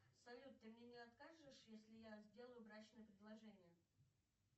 салют ты мне не откажешь если я сделаю брачное предложение